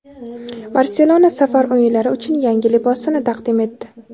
"Barselona" safar o‘yinlari uchun yangi libosini taqdim etdi.